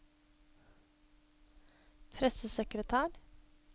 pressesekretær